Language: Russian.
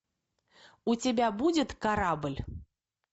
у тебя будет корабль